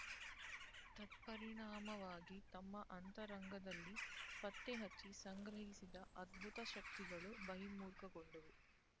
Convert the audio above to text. ತತ್ಪರಿಣಾಮವಾಗಿ ತಮ್ಮ ಅಂತರಂಗದಲ್ಲಿ ಪತ್ತೆಹಚ್ಚಿ ಸಂಗ್ರಹಿಸಿದ ಅದ್ಭುತ ಶಕ್ತಿಗಳು ಬಹಿರ್ಮುಖಗೊಂಡವು